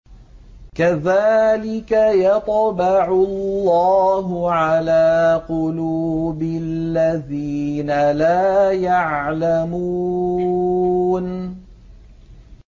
كَذَٰلِكَ يَطْبَعُ اللَّهُ عَلَىٰ قُلُوبِ الَّذِينَ لَا يَعْلَمُونَ